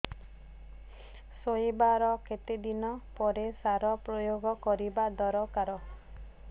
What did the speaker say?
ରୋଈବା ର କେତେ ଦିନ ପରେ ସାର ପ୍ରୋୟାଗ କରିବା ଦରକାର